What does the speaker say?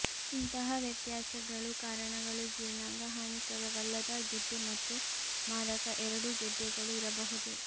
ಇಂತಹ ವ್ಯತ್ಯಾಸಗಳು ಕಾರಣಗಳು ಜೀರ್ಣಾಂಗ ಹಾನಿಕರವಲ್ಲದ ಗೆಡ್ಡೆ ಮತ್ತು ಮಾರಕ ಎರಡೂ ಗೆಡ್ಡೆಗಳು ಇರಬಹುದು